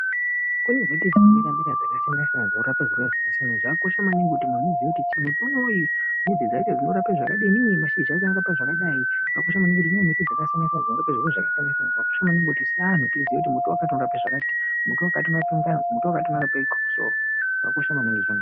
Kune mbiti dzino mera mera dzaka siyana siyana dzinorapa zvirwere zvaka siyana siyana zvakakosha maningi kuti munhu uziye kuti muti inoyi mbidzi dzacho dzino rape zvakadini mazhizha acho anorapa zvakadai zvakosha maningi kuti mune miti dzakasiyana siyana dzino rape zviro zvaka siyana siyana zvakakosha maningi kuti se anhu tiziye kuti muti wakati unorape zvakati muti wakati unorape ngazi muti wakati uno rape ndxuso zvakosha maningi izvona.